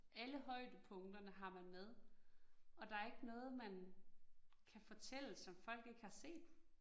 Alle højdepunkterne har man med, og der ikke noget, man kan fortælle, som folk ikke har set